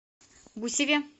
гусеве